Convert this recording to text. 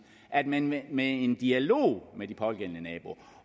at man med med en dialog med de pågældende naboer